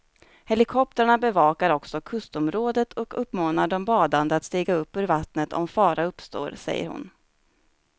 Helikoptrarna bevakar också kustområdet och uppmanar de badande att stiga upp ur vattnet om fara uppstår, säger hon.